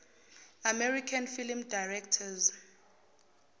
american film directors